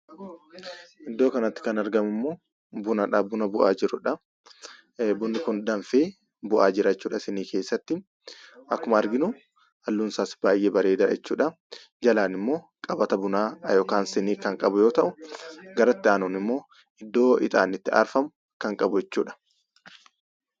Iddoo kanatti kan argamu immoo bunadha buna bu'aa jirudha. Bunni kun danfee bu'aa jiru jechuudha siinii keessatti akkuma arginu halluun isaas baay'ee bareedaadha jechuudha. Jalaan immoo qabata bunaa yookaan siinii kan qabu yoo ta'u, gara itti aanuun immoo iddoo ixaanni itti aarfamu kan qabu jechuudha.